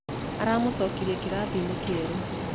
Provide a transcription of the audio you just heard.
Aramũcorire karatathi-inĩ kerũ.